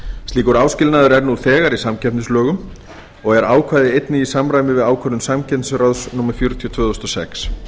slíkur áskilnaður er nú þegar í samkeppnislögum og er ákvæðið einnig í samræmi við ákvörðun samkeppnisráðs númer fjörutíu tvö þúsund og sex